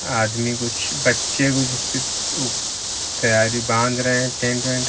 आदमी कुछ बच्चे कुछ इसकी तैयारी बांध रहे हैं टेंट वेंट।